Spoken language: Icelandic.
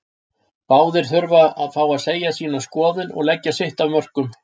Báðir þurfa að fá að segja sína skoðun og leggja sitt af mörkum.